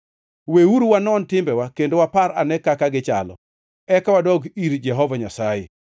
Weuru wanon timbewa kendo wapar ane kaka gichalo, eka wadog ir Jehova Nyasaye.